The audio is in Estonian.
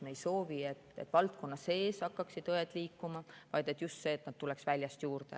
Me ei soovi, et valdkonna sees hakkaksid õed liikuma, vaid soovime just seda, et neid tuleks väljast juurde.